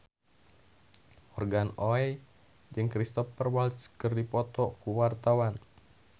Morgan Oey jeung Cristhoper Waltz keur dipoto ku wartawan